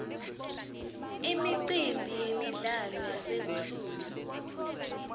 imicimbi yemidlalo yasebusuku